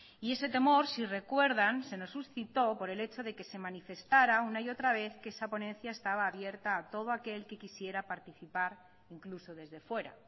y ese temor si recuerdan se nos suscitó por el hecho de que se manifestara una y otra vez que esa ponencia estaba abierta a todo aquel que quisiera participar incluso desde fuera